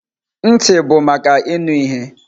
Ntị bụ maka ịnụ ihe.